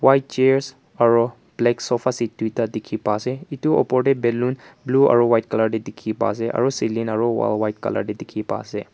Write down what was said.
white chairs aro black sofa seat duida dekhe pa ase etu opor dae balloon blue aro white colour dae dekhe pa ase aro ceiling aro wall white colour dae dekehe pa ase.